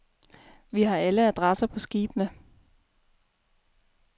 Vi har alle adresse på skibene.